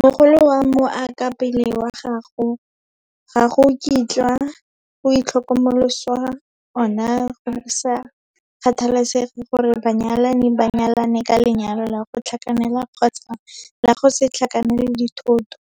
Mogolo wa mookapelo wa gago ga go kitlwa go itlhokomoloswa ona go sa kgathalesege gore banyalani ba nyalane ka lenyalo la go tlhakanela kgotsa la go se tlhakanele dithoto,